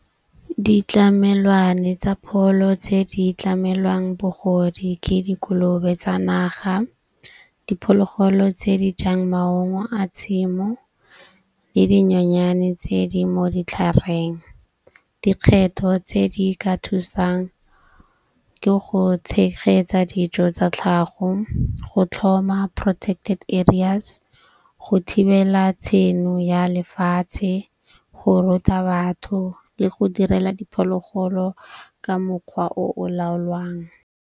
Ditlamelwane tsa pholo tse di tlamelwang bogodi ke dikolobe tsa naga, diphologolo tse di jang maungo a tshimo le dinyenyane tse di mo ditlhareng. Dikgetho tse di ka thusang ke go tshegetsa dijo tsa tlhago, go tlhoma protected areas, go thibela tshenyo ya lefatshe, go ruta batho le go direla diphologolo ka mokgwa o o laolwang.